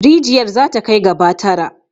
Rijiyar za ta kai gaba tara.